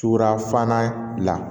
Tubafana bila